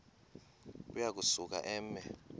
uya kusuka eme